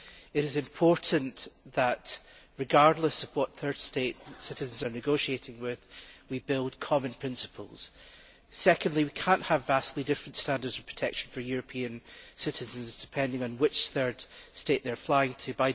It is important that, regardless of what third state we are negotiating with, we build on common principles. Secondly, we cannot have vastly different standards of protection for European citizens depending on which third state they are flying to.